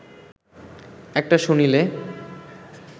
একটা শুনিলে